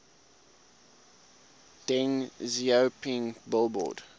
deng xiaoping billboard